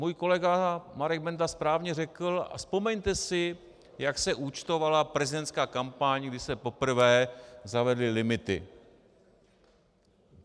Můj kolega Marek Benda správně řekl, a vzpomeňte si, jak se účtovala prezidentská kampaň, když se poprvé zavedly limity.